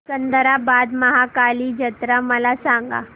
सिकंदराबाद महाकाली जत्रा मला सांगा